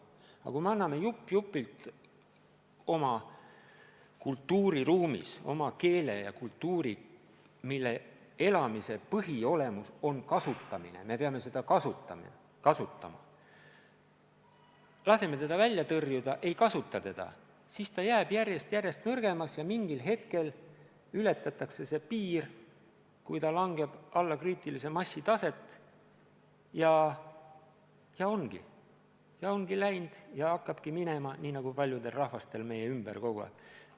Aga kui me loobume jupp-jupilt oma kultuuriruumis oma keelest ja kultuurist – nende elus olemise märk on kasutamine, me peame neid kasutama –, kui me laseme neid välja tõrjuda, ei kasuta neid, siis need jäävad järjest nõrgemaks ja mingil hetkel ületatakse see piir, kui see kasutamine langeb alla kriitilise massi taset ja hakkabki minema nii, nagu paljudel rahvastel meie ümber on läinud.